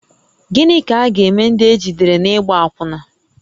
Gịnị ka a ga-eme ndị ejidere n’ịgba akwụna?